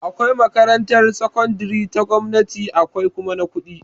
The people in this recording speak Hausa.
Akwai makarantar sakandire ta gwamnati akwai kuma ta kuɗi